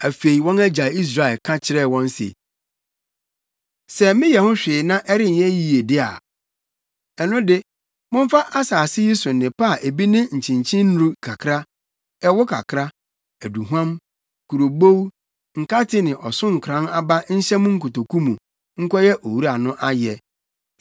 Afei, wɔn agya Israel ka kyerɛɛ wɔn se, “Sɛ meyɛ ho hwee na ɛrenyɛ yiye de a, ɛno de, momfa asase yi so nnepa a bi ne akyenkyennuru kakra, ɛwo kakra, aduhuam, kurobow, nkate ne ɔsonkoran aba nhyɛ mo nkotoku mu, nkɔyɛ owura no ayɛ.